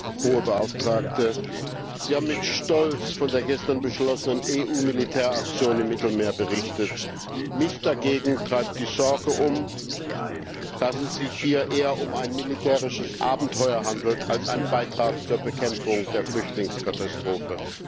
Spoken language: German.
Frau Hohe Beauftragte, Sie haben mit Stolz von der gestern beschlossenen EU Militäraktion im Mittelmeer berichtet. Mich dagegen treibt die Sorge um, dass es sich hier eher um ein militärisches Abenteuer handelt als um einen Beitrag zur Bekämpfung der Flüchtlingskatastrophe.